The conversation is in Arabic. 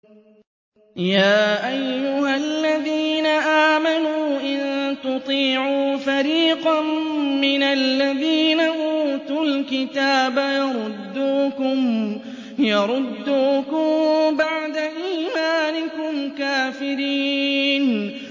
يَا أَيُّهَا الَّذِينَ آمَنُوا إِن تُطِيعُوا فَرِيقًا مِّنَ الَّذِينَ أُوتُوا الْكِتَابَ يَرُدُّوكُم بَعْدَ إِيمَانِكُمْ كَافِرِينَ